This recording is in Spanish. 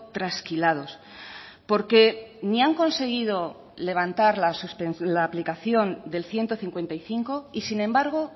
trasquilados porque ni han conseguido levantar la aplicación del ciento cincuenta y cinco y sin embargo